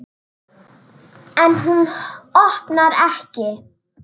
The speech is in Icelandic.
En hún opnar ekki.